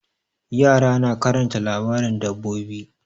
Yara na karanta labarin dabbobi.